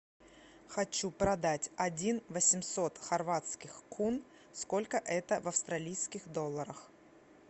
хочу продать один восемьсот хорватских кун сколько это в австралийских долларах